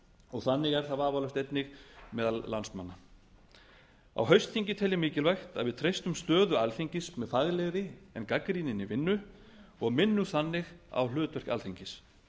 og þannig er það vafalaust einnig meðal landsmanna á haustþingi tel ég mikilvægt að við treystum stöðu alþingis með faglegri en gagnrýninni vinnu og minnum þannig á hlutverk alþingis